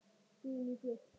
Guðný: Gull?